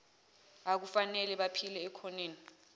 akufanele baphile ekhoneni